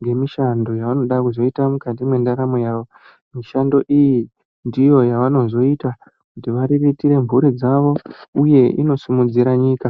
nge mishando yavanoda kuzoita mukati mwe ndaramo yavo mishando iyi ndiyo yavano zoita kuti variritire mburi dzavo uye ino sumudzira nyika.